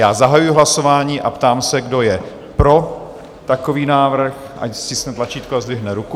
Já zahajuji hlasování a ptám se, kdo je pro takový návrh, ať stiskne tlačítko a zdvihne ruku.